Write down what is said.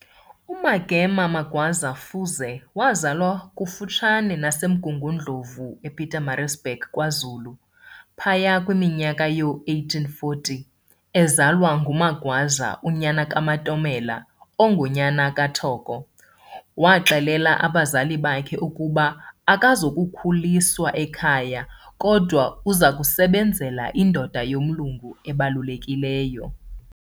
UMagema Magwaza Fuze wazalwa kufutshane nasemMgungundlovu, ePietermaritzburg, kwaZulu, phaya kwiminyaka yoo-1840, ezalwa nguMagwaza, unyana kaMatomela, ongunyana kaThoko. Waxelela abazali bakhe ukuba akazukukhuliswa ekhaya kodwa uzakusebenzela indoda yomlungu ebalulekileyo.